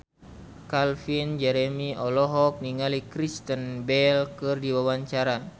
Calvin Jeremy olohok ningali Kristen Bell keur diwawancara